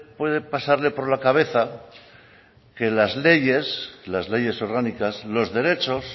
puede pasarle por la cabeza que las leyes las leyes orgánicas los derechos